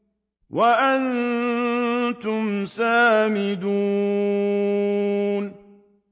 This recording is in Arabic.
وَأَنتُمْ سَامِدُونَ